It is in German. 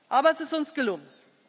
Aber es ist uns gelungen.